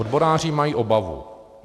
Odboráři mají obavu.